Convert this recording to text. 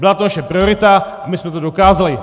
Byla to naše priorita, my jsme to dokázali.